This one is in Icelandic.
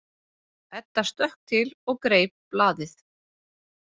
Edda stökk til og greip blaðið.